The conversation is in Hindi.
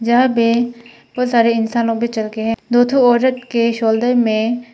यहां पे बहुत सारे इंसानों पे चलके है दो ठो औरत के शोल्डर मे--